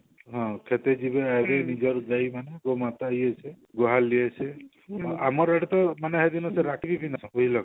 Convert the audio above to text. ହଁ କ୍ଷେତ ଯିବେ ଯାଇ ନିଜର ଗାଈ ମାନଙ୍କୁ ମାତା ଯିଏ ଅଛି ଗୁହାଲ ଇଏ ସିଏ ଆମର ୟାଡେ ତ ମାନେ